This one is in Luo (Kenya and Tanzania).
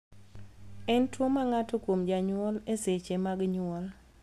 En tuo ma ng'ato kuom janyuol e seche mag nyuol